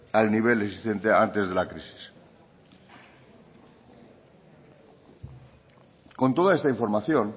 al nivel existente antes de la crisis con toda esta información